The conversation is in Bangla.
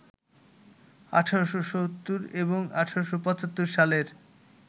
১৮৭০ এবং ১৮৭৫ সালের